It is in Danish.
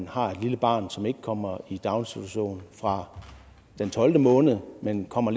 har et lille barn som ikke kommer i daginstitution fra den tolvte måned men kommer